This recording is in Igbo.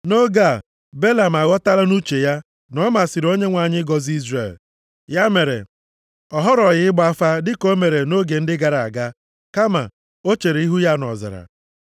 Nʼoge a, Belam aghọtala nʼuche ya na ọ masịrị Onyenwe anyị ịgọzi Izrel. Ya mere, ọ họrọghị ịgba afa dịka o mere nʼoge ndị gara aga, kama o chere ihu ya nʼọzara.